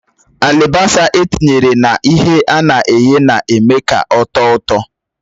Alibasa etinyere na ihe ana eghe na-eme ka ọ̀tọ́ ụtọ